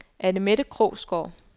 Anne-Mette Krogsgaard